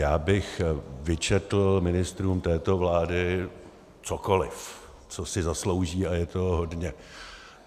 Já bych vyčetl ministrům této vlády cokoliv, co si zaslouží, a je toho hodně.